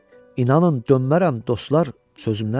İnanın, dönmərəm, dostlar, sözümdən.